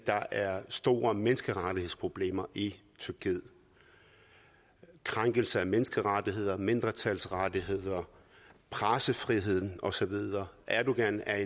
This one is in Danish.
der er store menneskerettighedsproblemer i tyrkiet krænkelse af menneskerettigheder mindretalsrettigheder pressefrihed og så videre erdogan er